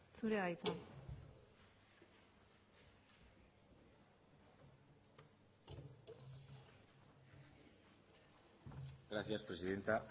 zurea da hitza gracias presidenta